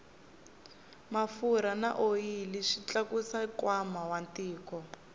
mafurha na oyili swi tlakusa nkwama wa tiko